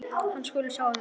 Hann skuli sjá um þetta.